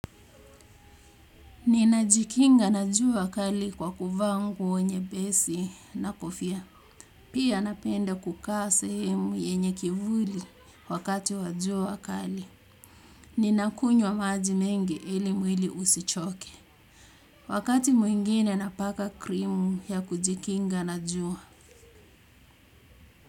Ninajikinga na jua kali kwa kuvaa nguo nyepesi na kofia. Pia napenda kukaa sehemu yenye kivuli wakati wa jua kali. Ninakunywa maji mengi ili mwili usichoke. Wakati mwingine napaka krimu ya kujikinga na jua.